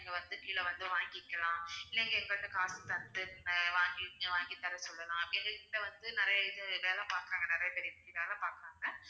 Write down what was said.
நீங்க வந்து கீழ வந்து வாங்கிக்கலாம் இல்ல எங்க கிட்ட காசு தந்து அஹ் வாங்கி~ வாங்கித்தர சொல்லலாம் எங்க கிட்ட வந்து நிறைய இது வேலை பார்க்கிறவங்க நிறைய பேர் இங்க வேலை பாக்குறாங்க